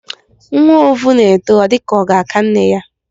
Nwa ovù na-eto, ọ dịka ọ ga-aka nne ya.